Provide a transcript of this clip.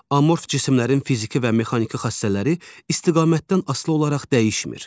Amorf cisimlərin fiziki və mexaniki xassələri istiqamətdən asılı olaraq dəyişmir.